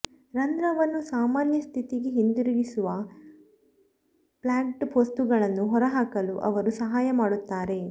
ರಂಧ್ರವನ್ನು ಸಾಮಾನ್ಯ ಸ್ಥಿತಿಗೆ ಹಿಂದಿರುಗಿಸುವ ಪ್ಲ್ಯಾಗ್ಡ್ ವಸ್ತುಗಳನ್ನು ಹೊರಹಾಕಲು ಅವರು ಸಹಾಯ ಮಾಡುತ್ತಾರೆ